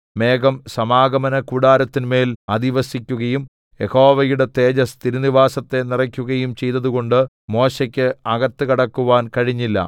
മേഘം സമാഗമനകൂടാരത്തിന്മേൽ അധിവസിക്കുകയും യഹോവയുടെ തേജസ്സ് തിരുനിവാസത്തെ നിറയ്ക്കുകയും ചെയ്തതുകൊണ്ട് മോശെയ്ക്ക് അകത്ത് കടക്കുവാൻ കഴിഞ്ഞില്ല